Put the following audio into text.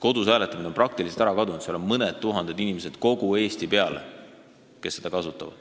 Kodus hääletamine on praktiliselt ära kadunud, ainult mõni tuhat inimest kogu Eesti peale kasutab seda.